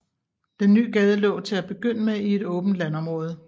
Den nye gade lå til at begynde med i et åbent landområde